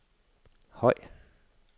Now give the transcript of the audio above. høj